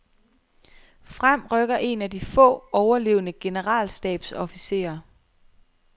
Frem rykker en af de få overlevende generalstabsofficerer.